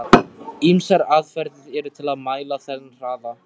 Ýmsar aðferðir eru til að mæla þennan hraða.